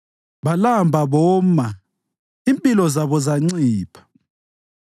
Balamba boma, impilo zabo zancipha.